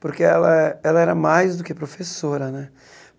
Porque ela ela era mais do que professora, né?